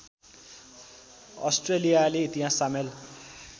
अस्ट्रेलियाली इतिहास सामेल